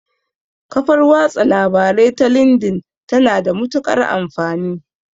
Kafar watsa labarai ta lindin ta na da matuƙar amfani